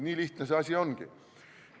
Nii lihtne see asi ongi.